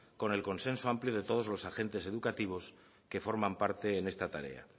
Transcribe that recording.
con el consenso amplio de todos los agentes educativos que forman parte en esta tarea